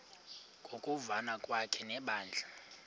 ngokuvana kwakhe nebandla